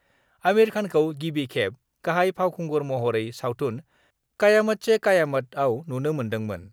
आमिर खानखौ गिबि खेब गाहाय फावखुंगुर महरै सावथुन 'कयामत से कयामत' आव नुनो मोन्दोंमोन।